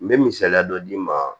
N bɛ misaliya dɔ d'i ma